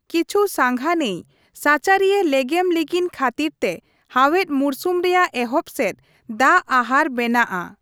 ᱠᱤᱪᱷᱩ ᱥᱟᱸᱜᱷᱟ ᱱᱟᱹᱭ ᱥᱟᱪᱟᱨᱤᱭᱟᱹ ᱞᱮᱜᱮᱢ ᱞᱤᱸᱜᱤᱱ ᱠᱷᱟᱹᱛᱤᱨᱛᱮ ᱦᱟᱣᱮᱫ ᱢᱩᱨᱥᱩᱢ ᱨᱮᱭᱟᱜ ᱮᱦᱚᱵ ᱥᱮᱫ ᱫᱟᱜᱼᱟᱦᱟᱨ ᱵᱮᱱᱟᱜ ᱟ ᱾